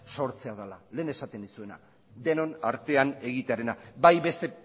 sortzea dela lehen esaten nizuena denon artean egitearena bai beste